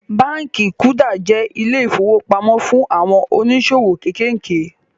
Báànkì kuda jẹ́ ilé ìfowópamó fún àwọn oníṣòwò kéékèèké